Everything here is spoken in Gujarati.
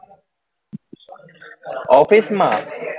office માં